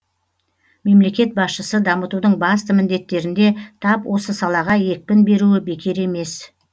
мемлекет басшысы дамытудың басты міндеттерінде тап осы салаға екпін беруі бекер емес